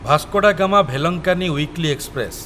Vasco da Gama Velankanni weekly express